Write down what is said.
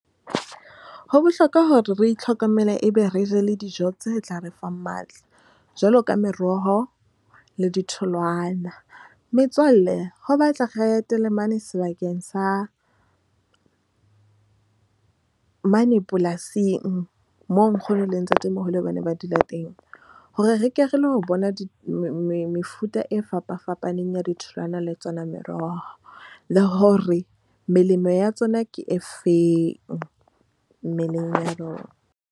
Ho bohlokwa hore re itlhokomele ebe re je dijo tse tla re fang matla jwaloka meroho le ditholwana. Metswalle ho batla re etele mane sebakeng sa mane polasing. Moo nkgono le ntatemoholo bane ba dula teng hore re ke re lo bona. Mefuta e fapafapaneng, ya di tholwana le tsona meroho le hore melemo ya tsona ke efeng mmeleng ya rona.